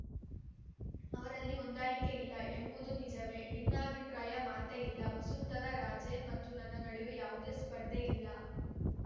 ಅವರಲ್ಲಿ ಹೊಂದಾಣಿಕೆಯಿಲ್ಲ ಎಂಬುದು ನಿಜವೇ ಭಿನ್ನಾಭಿಪ್ರಾಯದ ಮಾತೇ ಇಲ್ಲ ವಸುಂಧರಾ ರಾಜೇ ಮತ್ತು ನನ್ನ ನಡುವೆ ಯಾವುದೇ ಸ್ಪರ್ಧೆ ಇಲ್ಲ